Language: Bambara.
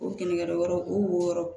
O kelenkɛyɔrɔ o wo wɔɔrɔ